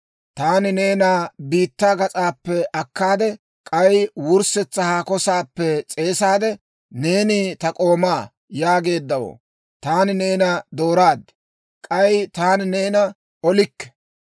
taani neena biittaa gas'aappe akkaade, k'ay wurssetsa haako saappe s'eesaade, ‹Neeni ta k'oomaa› yaageeddawoo, taani neena dooraad; k'ay taani neena olikke.